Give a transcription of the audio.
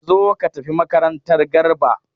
Zo ka tafi makaranta!r Garba